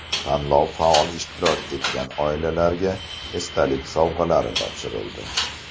Tanlovda faol ishtirok etgan oilalarga esdalik sovg‘alari topshirildi.